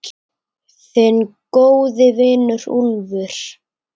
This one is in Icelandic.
Þinn góði vinur, Úlfur.